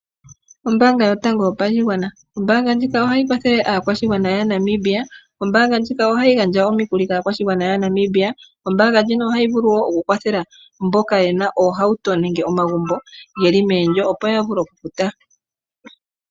Ombaanga yotango yopashigwana. Ombaanga ndjika oha kwathele aakwashigwana yaNamibia. Ombaanga ndjika ohayi gandja omikuli kaakwashigwana yaNamibia. Ombaanga ndjika vulu wo ku kwathela mboka ye na oohauto nenge ye na oondjolo opo ya vule oku futa.